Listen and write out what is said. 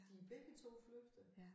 De begge 2 flygtede